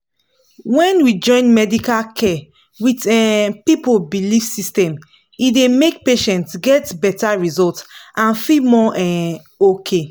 when we join medical care with um people belief system e dey make patients get better result and feel more um okay.